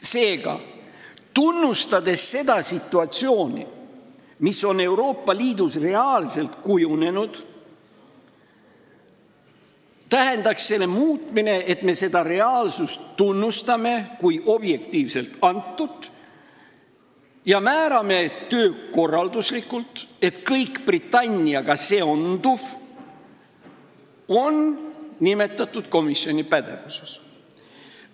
Seega, tunnustades seda situatsiooni, mis on Euroopa Liidus reaalselt kujunenud, tähendaks see muutmine, et me tunnustame seda reaalsust kui objektiivselt antut ja määrame töökorralduslikult, et kõik Britanniaga seonduv on nimetatud komisjoni pädevuses.